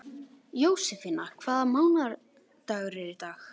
Jósefína, hvaða mánaðardagur er í dag?